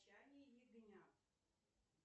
молчание ягнят